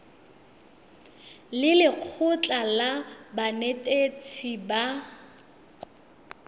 le lekgotlha la banetetshi ba